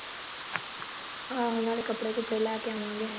ਆਹੋ ਨਾਲੇ ਕੱਪੜੇ ਕੁਪੜੇ ਲੈ ਕੇ ਆਵਾਂਗੇ